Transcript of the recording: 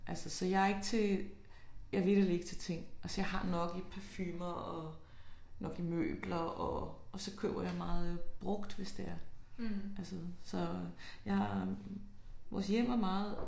Altså jeg er ikke til jeg er vitterligt ikke til ting. Altså jeg har nok i parfumer og nok møbler og og så køber jeg meget brugt hvis det er. Altså så ja vores hjem er meget